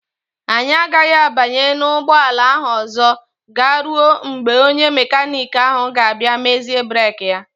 Anyị agaghị abanye n'ụgbọala ahụ ọzọ garuo mgbe onye mekaniki ahụ ga-abịa mezie breeki ya.